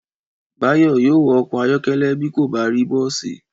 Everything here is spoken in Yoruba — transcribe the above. Báyọ̀ yóò wọ ọkọ̀ ayọ̀kẹ́lẹ́ bí kò bá rí bọ́ọ̀sì